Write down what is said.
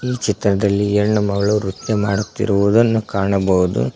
ಈ ಚಿತ್ರದಲ್ಲಿ ಹೆಣ್ಣು ಮಗಳು ನೃತ್ಯ ಮಾಡುತ್ತಿರುವುದನ್ನು ಕಾಣಬಹುದು.